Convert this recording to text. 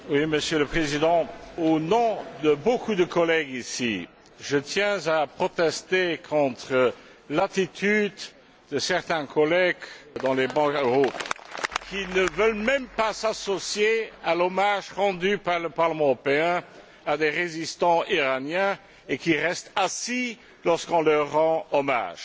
Monsieur le Président, au nom de beaucoup de collègues ici, je tiens à protester contre l'attitude de certains collègues, sur les bancs situés plus haut, qui ne veulent même pas s'associer à l'hommage rendu par le Parlement européen à des résistants iraniens et qui restent assis alors qu'on leur rend hommage.